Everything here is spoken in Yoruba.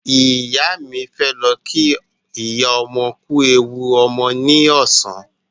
Ìyá mi fẹ́ lọ kí ìyá ọmọ kú ewu ọmọ ní ọ̀sán